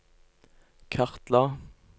kartla